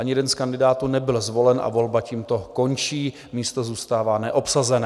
Ani jeden z kandidátů nebyl zvolen a volba tímto končí, místo zůstává neobsazené.